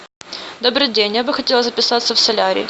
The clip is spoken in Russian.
добрый день я бы хотела записаться в солярий